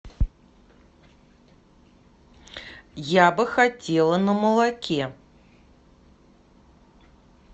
я бы хотела на молоке